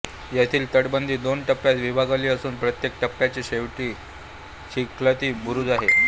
येथील तटबंदी दोन टप्प्यांत विभागली असून प्रत्येक टप्प्याच्या शेवटी चिलखती बुरुज आहे